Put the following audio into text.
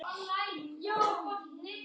Elsku Valla mín.